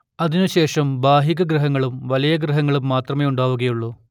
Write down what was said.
അതിനുശേഷം ഭാഗികഗ്രഹണങ്ങളും വലയഗ്രഹണങ്ങളും മാത്രമേ ഉണ്ടാവുകയുള്ളൂ